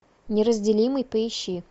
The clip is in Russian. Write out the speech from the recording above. неразделимый поищи